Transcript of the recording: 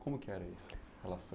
Como que era isso? Em relação